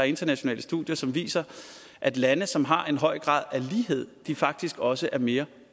internationale studier som viser at lande som har en høj grad af lighed faktisk også er mere